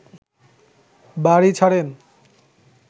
বাড়ি ছাড়েন